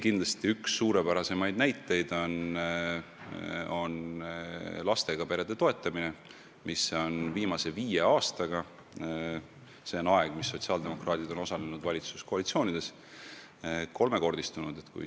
Kindlasti üks suurepärasemaid näiteid on lastega perede toetamine, mis on viimase viie aastaga – see on aeg, mis sotsiaaldemokraadid on osalenud valitsuskoalitsioonides – kolmekordistunud.